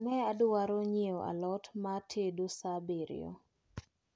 Ne adwaro nyiewo a lot ma atedo saa abirio.